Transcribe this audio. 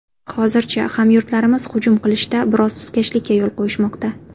Hozircha, hamyurtlarimiz hujum qilishda biroz sustkashlikka yo‘l qo‘yishmoqda.